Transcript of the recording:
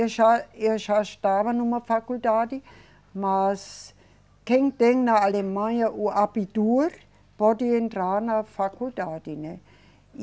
Eu já, eu já estava numa faculdade, mas quem tem na Alemanha o abitur pode entrar na faculdade, né? E